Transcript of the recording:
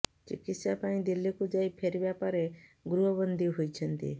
ଚିକିତ୍ସା ପାଇଁ ଦିଲ୍ଲୀକୁ ଯାଇ ଫେରିବା ପରେ ଗୃହବନ୍ଦୀ ହୋଇଛନ୍ତି